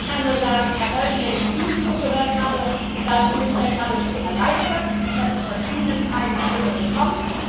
Ich kann nur sagen Herr Meuthen, wenn ich Ihnen zugehört habe, dann bin ich ja geradezu erleichtert, dass ich von Ihnen keine Stimme bekomme.